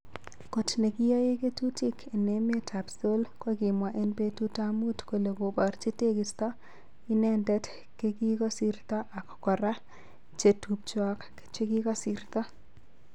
kot nekiyae ketutik en emet ap Seoul kokimwa en petut ap mut kole koparchi tekisto identet kekikosirto ak kora che tupchoak chekikosirto